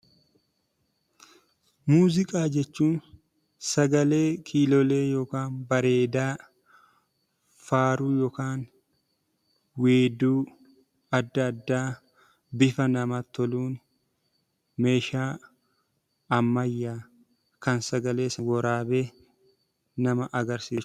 Muuziqaa jechuun sagalee kiilolee yookaan bareedaa, faaruu yookaan weedduu adda addaa bifa namatti toluun meeshaa ammayyaa kan sagalees waraabee nama agarsiisudha.